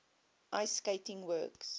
ice skating works